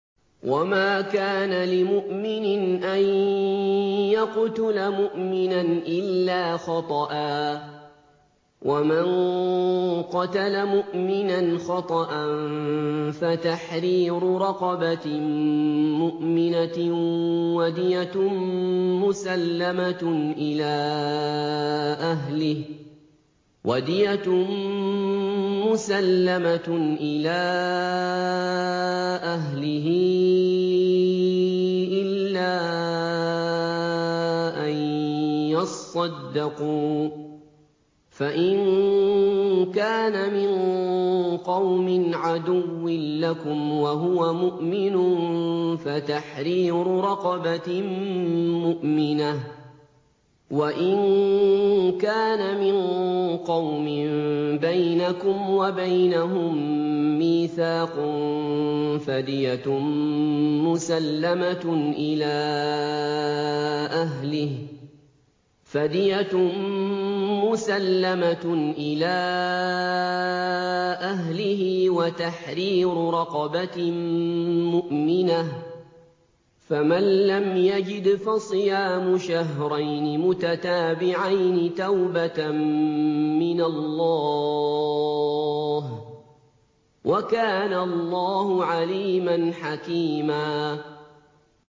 وَمَا كَانَ لِمُؤْمِنٍ أَن يَقْتُلَ مُؤْمِنًا إِلَّا خَطَأً ۚ وَمَن قَتَلَ مُؤْمِنًا خَطَأً فَتَحْرِيرُ رَقَبَةٍ مُّؤْمِنَةٍ وَدِيَةٌ مُّسَلَّمَةٌ إِلَىٰ أَهْلِهِ إِلَّا أَن يَصَّدَّقُوا ۚ فَإِن كَانَ مِن قَوْمٍ عَدُوٍّ لَّكُمْ وَهُوَ مُؤْمِنٌ فَتَحْرِيرُ رَقَبَةٍ مُّؤْمِنَةٍ ۖ وَإِن كَانَ مِن قَوْمٍ بَيْنَكُمْ وَبَيْنَهُم مِّيثَاقٌ فَدِيَةٌ مُّسَلَّمَةٌ إِلَىٰ أَهْلِهِ وَتَحْرِيرُ رَقَبَةٍ مُّؤْمِنَةٍ ۖ فَمَن لَّمْ يَجِدْ فَصِيَامُ شَهْرَيْنِ مُتَتَابِعَيْنِ تَوْبَةً مِّنَ اللَّهِ ۗ وَكَانَ اللَّهُ عَلِيمًا حَكِيمًا